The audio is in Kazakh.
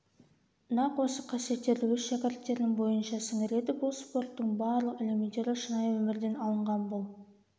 нақ осы қасиеттерді өз шәкірттерінің бойынша сіңіреді бұл спорттың барлық элементтері шынайы өмірден алынған бұл